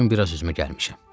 Bu gün biraz özümə gəlmişəm.